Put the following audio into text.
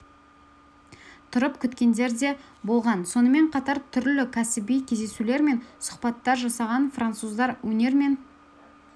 тұрып күткенкендер де болған сонымен қатар түрлі кәсіби кездесулер мен сұхбаттар жасаған француздар өнер мен